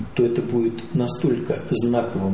то это будет настолько знаковым